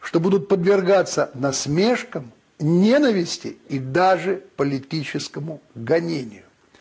что будут подвергаться насмешкам ненависти и даже политическому гонению